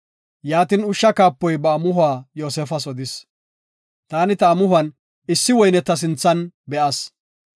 Yaatin ushsha kaapoy ba amuhuwa Yoosefas odis; “Taani ta amuhon issi woyne ta sinthan be7as.